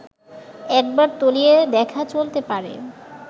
একবার তলিয়ে দেখা চলতে পারে